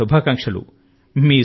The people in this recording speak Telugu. మీకు నా శుభాకాంక్షలు